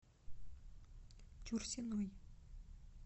чурсиной